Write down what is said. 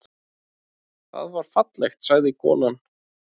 Það var fallegt, sagði konan.